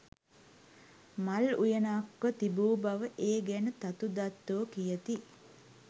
මල් උයනක්ව තිබූ බව ඒ ගැන තතු දත්තෝ කියති